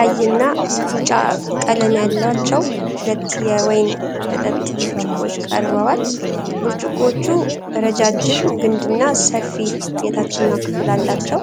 ቀይና ቢጫ ቀለም ያላቸው ሁለት የወይን መጠጥ ብርጭቆዎች ቀርበዋል፡፡ ብርጭቆዎቹ ረጃጅም ግንድና ሰፊ የታችኛው ክፍል አላቸው፡፡